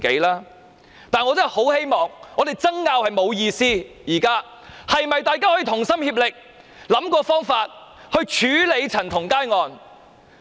但是，我真的很希望大家知道，我們爭拗並無意思，現在大家可否同心協力想方法來處理陳同佳案？